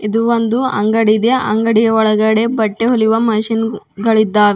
ಇದು ಒಂದು ಅಂಗಡಿದೆ ಅಂಗಡಿಯ ಒಳಗಡೆ ಬಟ್ಟೆ ಹೊಲಿಯುವ ಮಷೀನ್ ಗಳಿದ್ದಾವೆ.